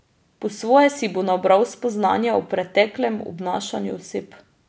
Po svoje si bo nabral spoznanja o preteklem obnašanju oseb.